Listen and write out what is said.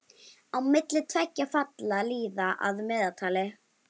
Á milli tveggja falla líða að meðaltali